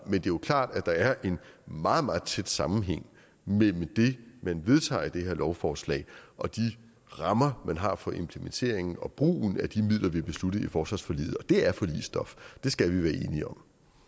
er jo klart at der er en meget meget tæt sammenhæng mellem det man vedtager med det her lovforslag og de rammer man har for implementeringen og brugen af de midler vi har besluttet i forsvarsforliget og det er forligsstof det skal vi være enige om